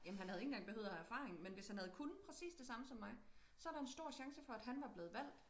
Jamen han havde ikke engang behøvet at have erfaring men hvis han havde kunnet præcis det samme som mig så der en stor chance for at han var blevet valgt